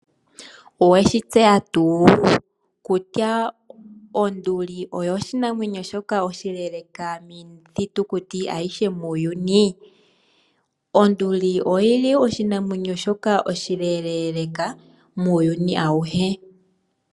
Owe shi tseya tuu kutya onduli oyo oshinamwenyo oshileeleka kiinamwenyo ayihe muuyuni? Onduli oshinamwenyo shoka oshileeleeka muuyuni auhe.